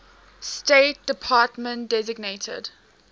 state department designated